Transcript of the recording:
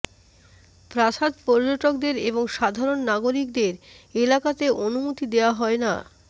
প্রাসাদ পর্যটকদের এবং সাধারণ নাগরিকদের এলাকাতে অনুমতি দেওয়া হয় না